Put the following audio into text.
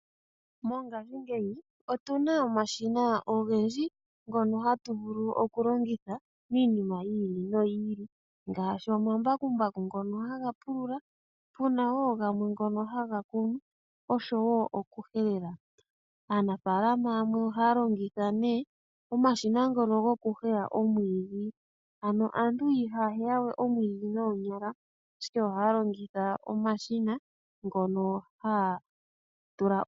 Mongaashingeyi otu na omashina ogendji ngono hatu vulu oku longitha miinima yi ili noyi ili ngaashi omambakumbaku ngono haga pulula, pu na wo gamwe ngono haga kunu, osho wo oku helela. Aanafaalama yamwe ohaya longitha nee omashina ngono goku heya omwiidhi aantu ihaya heya we omwiidhi noonyala ashike ohaya longitha omashina ngono haya tula.